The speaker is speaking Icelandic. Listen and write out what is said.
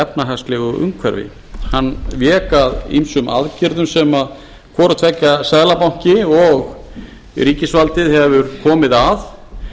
efnahagslegu umhverfi hann vék að ýmsum aðgerðum sem hvorutveggja seðlabanki og ríkisvaldið hefur komið að